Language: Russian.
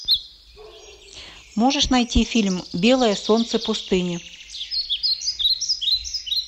можешь найти фильм белое солнце пустыни